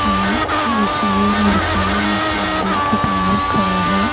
हैं जिसमें लड़का एक मंदिर के बाहर खड़ा है।